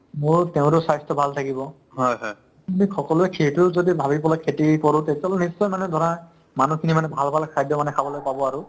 মোৰো তেওঁৰো স্বাস্থ্য ভাল থাকিব বুলি সকলোয়ে সেইটোও যদি ভাবি পেলাই খেতি কৰো তেতিয়াহ'লে নিশ্চয় মানে ধৰা মানুহখিনি মানে ভাল ভাল খাদ্য মানে খাবলৈ পাব আৰু